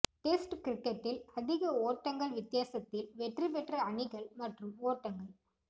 test கிரிக்கெட்டில் அதிக ஓட்டங்கள் வித்தியாசத்தில் வெற்றி பெற்ற அணிகள் மற்றும் ஓட்டங்கள்